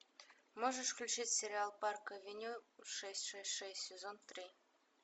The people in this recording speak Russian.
можешь включить сериал парк авеню шесть шесть шесть сезон три